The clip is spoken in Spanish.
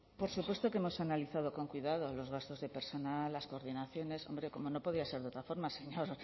por supuesto que hemos analizado con cuidado los gastos de personal las coordinaciones hombre como no podía ser de otra forma señor